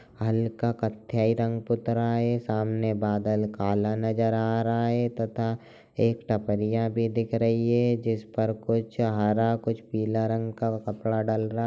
हल्का कत्थई रंग पुत रहा है सामने बादल काला नजर आ रहा है तथा एक टपरियां भी दिख रही है जिस पर कुछ हरा कुछ पीला रंग का कपड़ा डल रहा --